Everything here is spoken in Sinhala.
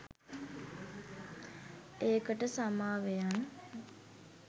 ඒකට සමාවෙයන්